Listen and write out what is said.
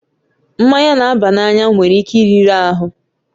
Mmanya na-aba n'anya nwere ike iriri ahụ